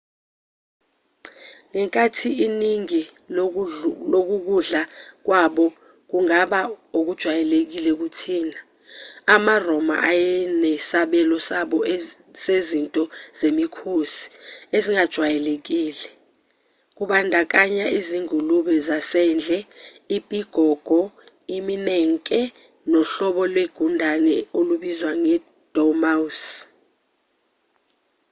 ngenkathi iningi lokukudla kwabo kungaba okujwayelekile kuthina amaroma eyenesabelo sabo sezinto zemikhosi ezingajwayelekile kubandakanya izingulube zasendle ipigogo iminenke nohlobo lwegundane olubizwa nge-dormouse